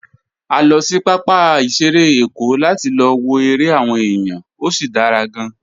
A lọ sí pápá ìṣeré Èkó láti lọ wo eré àwọn èèyàn, ó sì dára gan-an.